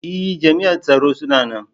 E! jam'ian tsaro suna nan.